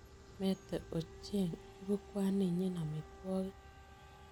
Mete Ocheing' ibu kwaninyi amitwogik.